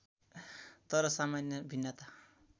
तर सामान्य भिन्नता